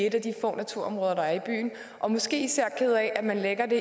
i et af de få naturområder der er i byen og måske især ked af at det